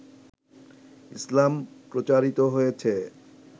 ইসলাম প্রচারিত হয়েছে